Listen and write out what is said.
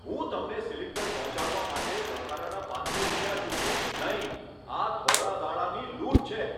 હું તમને સિલિન્ડર પહોંચાડવા માટે વધારાના પાંચસો રૂપિયા ચૂકવીશ નહીં. આ ધોળા દાડાની લૂંટ છે!